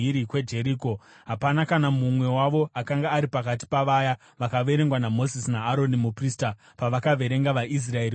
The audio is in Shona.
Hapana kana mumwe wavo akanga ari pakati pavaya vakaverengwa naMozisi naAroni muprista, pavakaverenga vaIsraeri murenje reSinai.